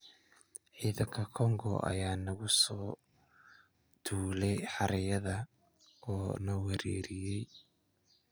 Ciidanka Kongo ayaa nagu soo duulay xeradayada oo na weeraray.